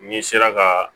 N'i sera ka